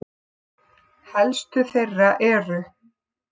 Helstu þeirra eru